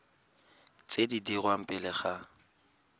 tse di dirwang pele ga